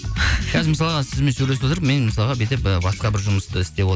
қазір мысалға сізбен сөйлесіп отырып мен мысалға бүйтіп і басқа бір жұмысты істеп